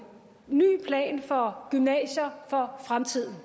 ny plan for gymnasier for fremtiden